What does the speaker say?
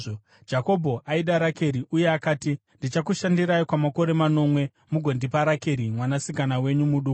Jakobho aida Rakeri uye akati, “Ndichakushandirai kwamakore manomwe mugondipa Rakeri mwanasikana wenyu muduku.”